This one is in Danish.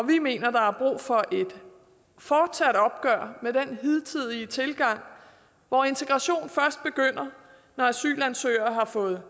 vi mener der er brug for et fortsat opgør med den hidtidige tilgang hvor integration først begynder når asylansøgere har fået